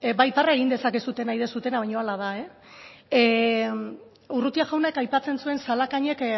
parra egin dezakezu nahi duzuena baina hala da urrutia jaunak aipatzen zuen zalakainek